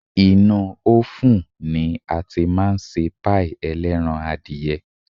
Inúú ófùn ni a tí máa ń ṣe páì ẹlẹ́ran-adìyẹ.